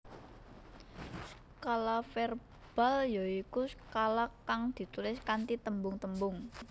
Skala verbal ya iku skala kang ditulis kanthi tembung tembung